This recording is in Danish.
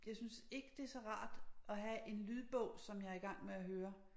Jeg synes ikke det så rart at have en lydbog som jeg i gang med at høre